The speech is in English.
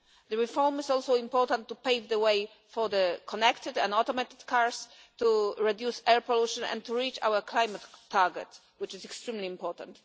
The reform is also important to pave the way for connected and automated cars, to reduce air pollution and to reach our climate target, which is extremely important.